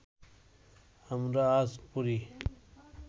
আমরা আজ পড়ি